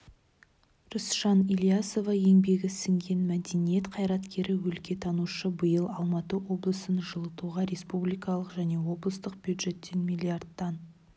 рысжан ілиясова еңбегі сіңген мәдениет қайраткері өлкетанушы биыл алматы облысын жылытуға республикалық және облыстық бюджеттен миллиардтан